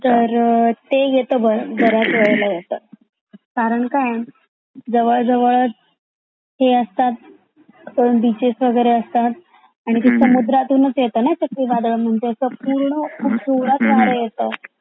तर ते येत बराच वेळेला येत, कारण काय आहे जवळ जवळ चा हे असतात ना बीचेस वैगेरे असतात आणि ते पण समुद्रातुनच येत ना चाकरी वादळ म्हणजे असा पूर्ण पुरला पार येता.